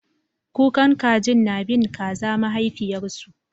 Kukan kajin na bin kaza mahaifiyarsu